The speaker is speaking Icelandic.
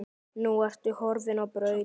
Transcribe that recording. Nú ertu horfin á braut.